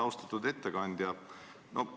Austatud ettekandja!